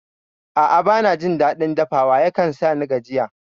A'a bana jin daɗin dafawa, yakan sani gajiya